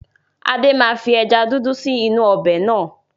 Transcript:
Adé máa fi ẹja dúdú sì inú ọbẹ̀ náà.